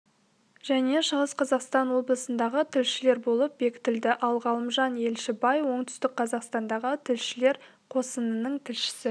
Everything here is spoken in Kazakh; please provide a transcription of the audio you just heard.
және шығыс қазақстан облысындағы тілшілер болып бекітілді ал ғалымжан елшібай оңтүстік қазақстандағы тілшілер қосынының тілшісі